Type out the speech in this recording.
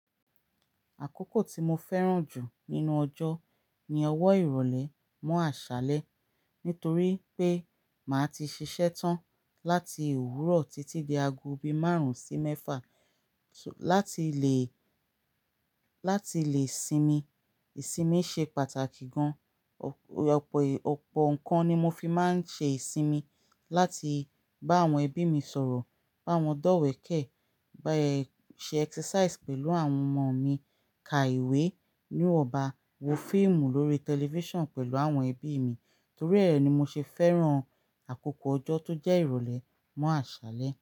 Àkókò tí mo fẹ́ràn jù nínú ọjọ́ ni ọwọ́ ìrọ̀lẹ́ mọ́ àṣálẹ́ nítorí pé màá ti ṣiṣẹ́ tán láti òwúrọ̀ títí di aago bí márùn-ún sí mẹ́fà láti lè, láti lè sinmi. Ìsinmi ṣe pàtàkì gan. Òpó, òpó ǹkan ni mo fi máa ń ṣe ìsinmi láti bá àwọn ẹbí mi sọ̀rọ̀, bá wọn dọ́wẹ̀kẹ̀, bá ẹ ṣe exercise pẹ̀lú àwọn ọmọ mi, ka ìwé níwọ̀ba, wo fíìmù lórí tẹlifíṣàn pẹ̀lú àwọn ẹbí mi. Torí è ni mo ṣe fẹ́ràn àkókò ọjọ́ tó jẹ́ ìrọ̀lẹ́ mọ́ àṣálẹ́